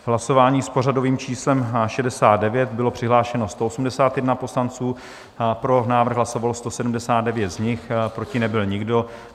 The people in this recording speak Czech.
V hlasování s pořadovým číslem 69 bylo přihlášeno 181 poslanců, pro návrh hlasovalo 179 z nich, proti nebyl nikdo.